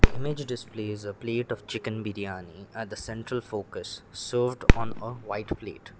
image displays a plate of chicken biryani at the central focus served on a white plate.